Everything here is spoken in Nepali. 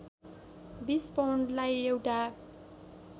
२० पौन्डलाई एउटा